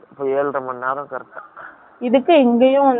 இதுக்கு இங்கேயும் வந்துட்டு stop ஆகாமல்